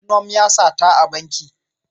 Funom ya sata a banki.